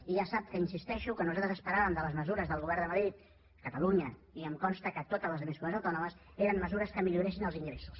i ja sap que insisteixo que nosaltres el que esperàvem de les mesures del govern de madrid catalunya i em consta que totes les altres comunitats autònomes eren mesures que milloressin els ingressos